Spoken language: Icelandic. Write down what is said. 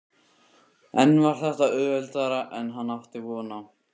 En var þetta auðveldara en hann átti von á?